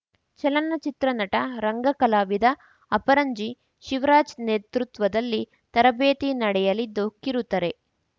ಚಲನಚಿತ್ರ ನಟ ರಂಗಕಲಾವಿದ ಅಪರಂಜಿ ಶಿವರಾಜ್‌ ನೇತೃತ್ವದಲ್ಲಿ ತರಬೇತಿ ನಡೆಯಲಿದ್ದು ಕಿರುತೆರೆ